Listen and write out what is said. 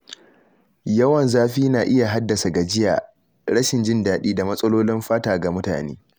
Yawan zafi na iya haddasa gajiya, rashin jin daɗi, da matsalolin fata ga mutane.